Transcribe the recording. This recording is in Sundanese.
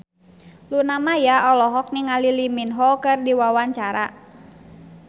Luna Maya olohok ningali Lee Min Ho keur diwawancara